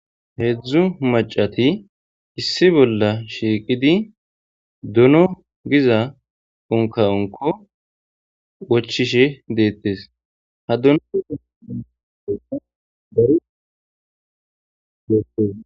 Heedzdzu macati issi bolla shiiqidi duno giza onka onko wochishe deettes ha duno